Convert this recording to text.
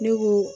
Ne ko